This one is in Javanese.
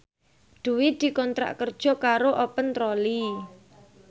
Dwi dikontrak kerja karo Open Trolley